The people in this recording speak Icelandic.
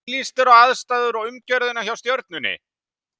Hvernig líst þér á aðstæður og umgjörðina hjá Stjörnunni?